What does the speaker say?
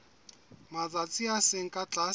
matsatsi a seng ka tlase